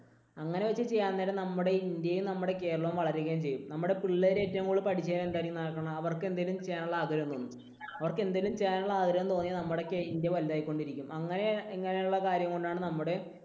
അങ്ങനെ വച്ച് ചെയ്യാൻ നേരം നമ്മുടെ ഈ ഇന്ത്യയും നമ്മുടെ കേരളവും വളരെയധികം വളരുകയും ചെയ്യും. നമ്മുടെ പിള്ളേര് ഏറ്റവും കൂടുതൽ പഠിച്ചു കഴിഞ്ഞ് എന്താണ് ഈ നടക്കുന്നത്? അവർക്ക് എന്തെങ്കിലും ചെയ്യാനുള്ള ആഗ്രഹം തോന്നണം. അവർക്ക് എന്തേലും ചെയ്യാനുള്ള ആഗ്രഹം തോന്നിയാൽ നമ്മുടെയൊക്കെ ഇന്ത്യ വലുതായിക്കൊണ്ടിരിക്കും. അങ്ങനെ അങ്ങനെയുള്ള കാര്യം കൊണ്ടാണ് നമ്മുടെ